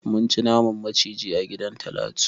Mun ci naman maciji a gidan Talatu.